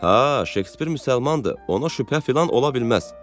Hə, Şekspir müsəlmandır, ona şübhə filan ola bilməz.